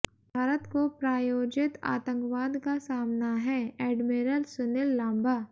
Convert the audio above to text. भारत को प्रायोजित आतंकवाद का सामना हैः एडमिरल सुनील लांबा